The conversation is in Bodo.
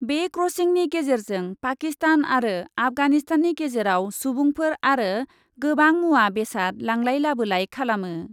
बे क्रसिंनि गेजेरजों पाकिस्तान आरो आफगानिस्ताननि गेजेराव सुबुंफोर आरो गोबां मुवा बेसाद लांलाय लाबोलाय खालामो ।